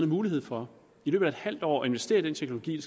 mulighed for i løbet af et halvt år at investere i den teknologi